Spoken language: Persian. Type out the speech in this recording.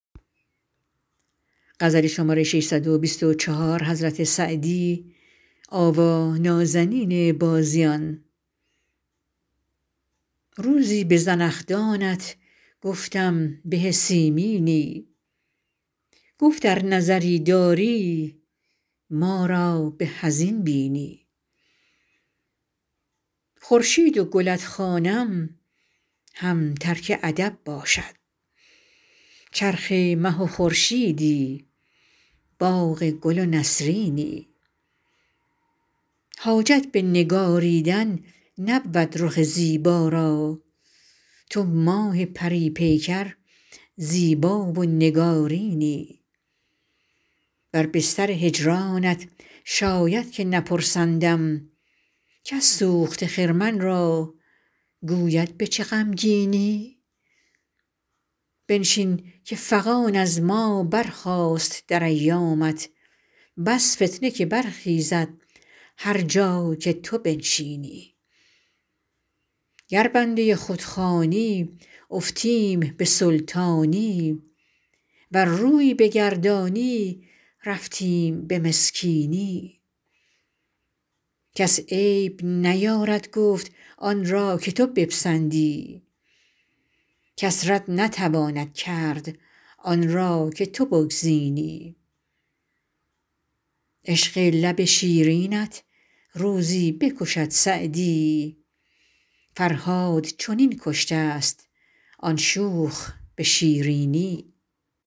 روزی به زنخدانت گفتم به سیمینی گفت ار نظری داری ما را به از این بینی خورشید و گلت خوانم هم ترک ادب باشد چرخ مه و خورشیدی باغ گل و نسرینی حاجت به نگاریدن نبود رخ زیبا را تو ماه پری پیکر زیبا و نگارینی بر بستر هجرانت شاید که نپرسندم کس سوخته خرمن را گوید به چه غمگینی بنشین که فغان از ما برخاست در ایامت بس فتنه که برخیزد هر جا که تو بنشینی گر بنده خود خوانی افتیم به سلطانی ور روی بگردانی رفتیم به مسکینی کس عیب نیارد گفت آن را که تو بپسندی کس رد نتواند کرد آن را که تو بگزینی عشق لب شیرینت روزی بکشد سعدی فرهاد چنین کشته ست آن شوخ به شیرینی